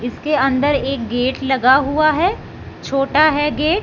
इसके अंदर एक गेट लगा हुआ हैं छोटा है गेट ।